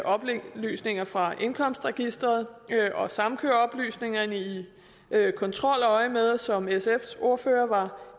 oplysninger fra indkomstregisteret og samkøre oplysningerne i kontroløjemed som sfs ordfører var